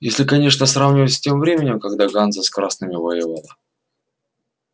если конечно сравнивать с тем временем когда ганза с красными воевала